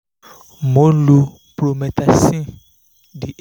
mo ń lo promethazine